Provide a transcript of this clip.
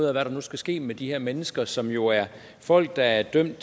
af hvad der nu skal ske med de her mennesker som jo er folk der er idømt